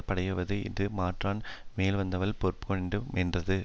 படையாவது இது மாற்றான் மேல்வந்தால் பொறுக்கவேண்டு மென்றது